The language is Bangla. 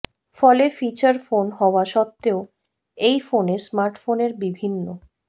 ফলে ফিচার ফোন হওয়া সত্ত্বেও এই ফোনে স্মার্টফোনের বিভিন্ন